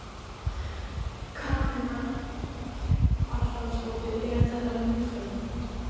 Karen Kjartansdóttir: Er þetta ljúffengt?